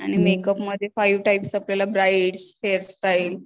आणि मेकअप मध्ये five types आपल्याला ब्राईड हेअर स्टाईल